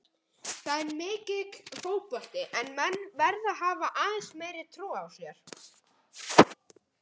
Það er mikill fótbolti en menn verða að hafa aðeins meiri trú á sér.